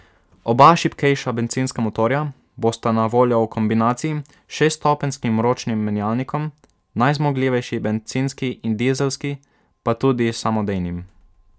Oba šibkejša bencinska motorja bosta na voljo v kombinaciji s šeststopenjskim ročnim menjalnikom, najzmogljivejši bencinski in dizelski pa tudi s samodejnim.